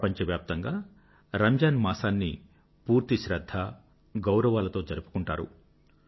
ప్రపంచవ్యాప్తంగా రంజాన్ మాసాన్ని పూర్తి శ్రధ్ధ గౌరవాలతో జరుపుకుంటారు